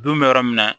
Don bɛ yɔrɔ min na